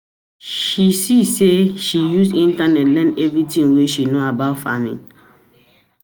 She see say she use internet learn everytin wey she know about farming.